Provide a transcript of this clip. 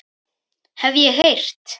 Hef ég heyrt.